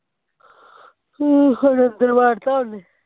ਹੁਣ ਅੰਦਰ ਵਾੜਤਾ ਉਹਨੇ